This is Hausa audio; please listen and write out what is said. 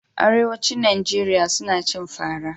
Arewacin Najeriya suna cin fara.